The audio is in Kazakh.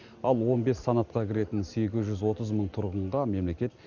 ал он бес санатқа кіретін сегіз жүз отыз мың тұрғынға мемлекет